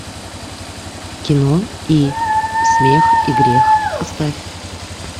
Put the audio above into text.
кино и смех и грех поставь